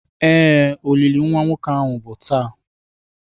Ee, olili nwa nwoke ahu bụ taa.